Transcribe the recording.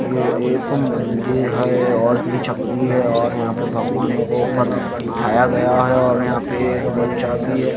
ये एक मंदिर है और उसमें छपरी है और यहां पे भगवानों को ऊपर बिठाया गया है और यहां पे एक बच्चा भी है।